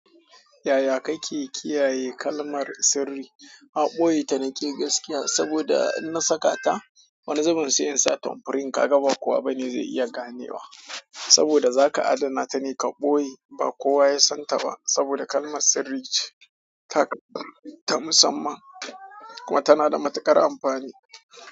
Yaya kake kiyaye kalmar sirri? A ɓoye ta na ke gaskiya saboda in na saka ta wani zubin sai in sa tompurin ka ga ba kowa bane zai iya ganewa saboda zaka adana ta ne ka ɓoye ba kowa ya san ta ba saboda kalmar sirri ce ta ta musamman kuma tana da matuƙar amfani.